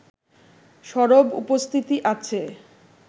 সরব উপস্থিতি আছে